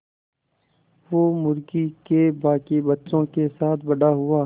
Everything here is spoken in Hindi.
वो मुर्गी के बांकी बच्चों के साथ बड़ा हुआ